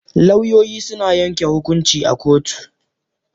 Lauyoyi suna yanke hukunci a kotu.